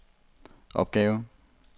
opgave